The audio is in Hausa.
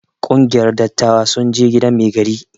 Kungiyar dattawa sun je gidan mai gari.